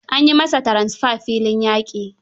An yi masa tranfer filin yaƙi.